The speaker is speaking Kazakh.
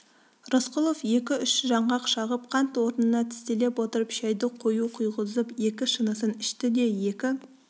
рысқұлов екі-үш жаңғақ шағып қант орнына тістелеп отырып шайды қою құйғызып екі шынысын ішті де екі